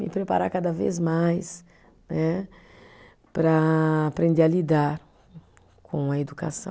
Me preparar cada vez mais né, para aprender a lidar com a educação.